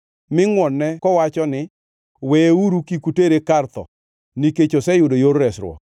mi ngʼwon-ne kowacho ni, ‘Weyeuru kik utere e kar tho, nikech oseyudo yor resruok.’